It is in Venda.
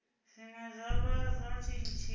zwine zwa vha na tshitshili